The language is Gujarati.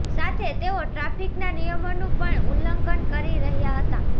સાથે તેઓ ટ્રાફિકના નિયમોનું પણ ઉલ્લંઘન કરી રહ્યા હતા